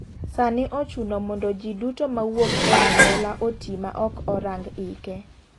Sani ochuno mondo ji duto mawuok e anyuola oti ma ok orang' ike.